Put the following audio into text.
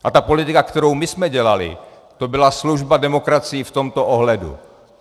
A ta politika, kterou my jsme dělali, to byla služba demokracii v tomto ohledu.